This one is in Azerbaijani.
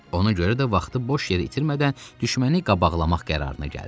Ona görə də vaxtı boş yerə itirmədən düşməni qabaqlamaq qərarına gəldi.